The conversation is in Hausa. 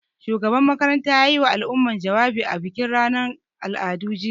Shugaban makarantar ya yiwa al'umma jawabi a bikin ranar al'adu, jiya.